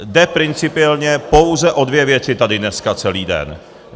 Jde principiálně pouze o dvě věci tady dneska celý den.